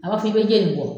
A b'a fɔ k'i bɛ jeni